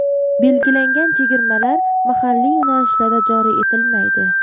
Belgilangan chegirmalar mahalliy yo‘nalishlarda joriy etilmaydi.